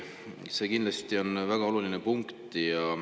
See on kindlasti väga oluline punkt.